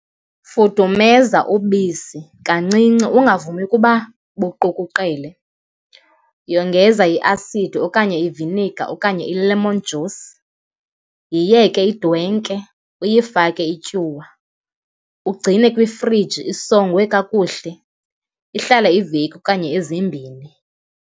Fudumenza ubisi kancinci, ungavumi ukuba buqukuqele, yongeza iasidi okanye iviniga okanye i-lemon juice. Yiyeke idwenke, uyifake ityuwa, ugcine kwifriji isongwe kakuhle, ihlale iveki okanye ezimbini.